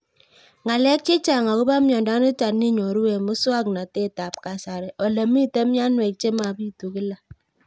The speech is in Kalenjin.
Ng'alek chechang' akopo miondo nitok inyoru eng' muswog'natet ab kasari ole mito mianwek che mapitu kila